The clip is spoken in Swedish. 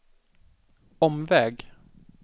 omväg